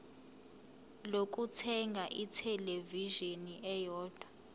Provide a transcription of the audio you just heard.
lokuthenga ithelevishini eyodwa